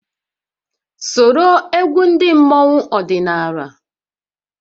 Soro egwu ndị mmọnwu ọdịnala!